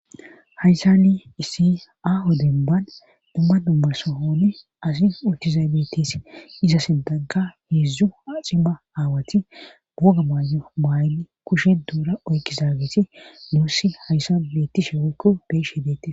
hayssani isi aaho demban dumma dumma sohonn asi utizay bettis iza sintanka heedzdzu aaxi ma aawati buoga maayo maayni kushen duura oyki zaagetinuusi hayssan beettishe woykko be'iahe deettes